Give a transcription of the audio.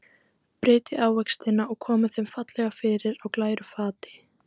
Brytjið ávextina og komið þeim fallega fyrir á glæru fati.